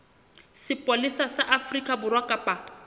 sepolesa sa afrika borwa kapa